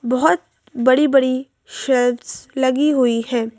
बहोत बड़ी-बड़ी शेल्व्स लगी हुई हैं।